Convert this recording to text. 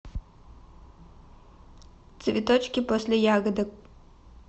цветочки после ягодок